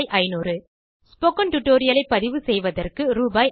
500 spoken tutorial ஐ பதிவு செய்வதற்கு ரூ